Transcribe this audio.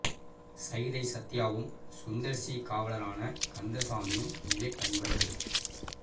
சைதை சத்யாவும் சுந்தர் சி காவலரான கந்தசாமியும் விவேக் நண்பர்கள்